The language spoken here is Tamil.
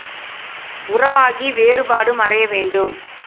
உறவாகி வேறுபாடு மறைய வேண்டும்